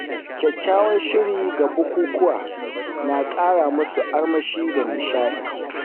Kyakkyawan shiri ga bukukuwa na ƙara musu armashi da nishaɗi.